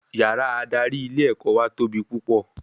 Yàrá adarí ilé ẹ̀kọ́ wà tóbi púpọ̀